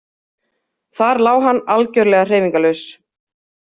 Þar lá hann algerlega hreyfingarlaus.